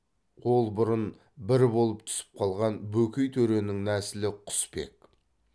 ол бұрын бір болып түсіп қалған бөкей төренің нәсілі құсбек